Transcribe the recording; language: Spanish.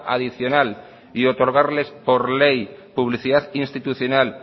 adicional y otorgarles por ley publicidad institucional